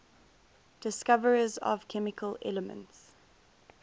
discoverers of chemical elements